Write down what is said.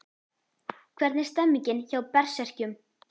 Hvernig er stemningin hjá Berserkjum?